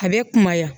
A bɛ kumaya